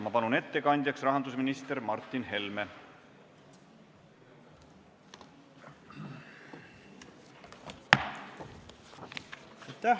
Palun ettekandjaks rahandusminister Martin Helme!